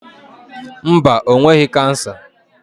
Mba, o nweghị kansa.